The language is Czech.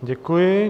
Děkuji.